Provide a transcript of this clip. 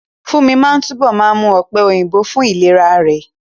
Fúnmi máa túbọ̀ máa mú ọ̀pẹ̀ òyìnbó fún ìlera rẹ̀